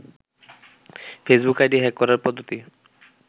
Facebook ID hack করার পদ্ধতি